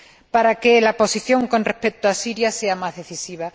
para que la posición con respecto a Siria sea más decisiva.